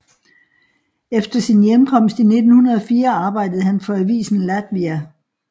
Efter sin hjemkomst i 1904 arbejdede han for avisen Latvija